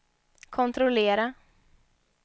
kontrollera